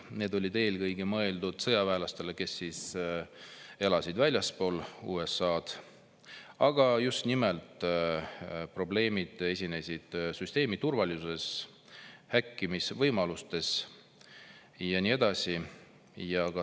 See oli eelkõige mõeldud sõjaväelastele, kes elasid väljaspool USA‑d, aga ilmnesid probleemid süsteemi turvalisuses, häkkimisvõimalused ja nii edasi.